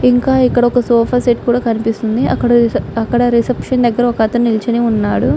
ఇంకా ఇక్కడ ఒక సోఫా సెట్ కూడా కనిపిస్తుంది.అక్కడ రిసెప్షన్ దగ్గర ఒక అతను నిల్చొని ఉన్నాడు.